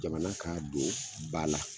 Jamana ka don ba la.